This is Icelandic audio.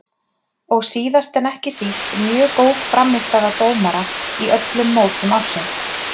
Og síðast en ekki síst mjög góð frammistaða dómara í öllum mótum ársins.